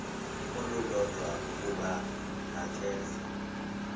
olulodwa ukuba makeze